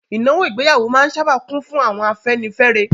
Ìnáwó ìgbéyàwó máa n sáábà kún fún àwọn afẹ́nifẹ́re